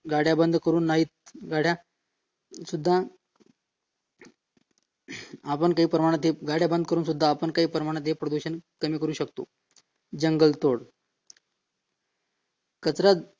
गाड्या बंद करून नाहीत गाड्या सुद्धा काही प्रमाणात ते गाड्या बंद करून सुद्धा काही प्रमाणात प्रदूषण बंद करू शकतो जंगल तोड कचरा